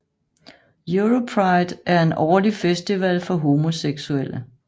Europride er en årlig festival for homoseksulle